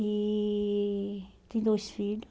E tem dois filhos.